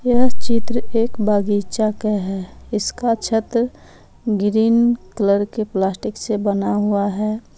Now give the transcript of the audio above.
यह चित्र एक बगीचा का है इसका छत ग्रीन कलर के प्लास्टिक से बना हुआ है।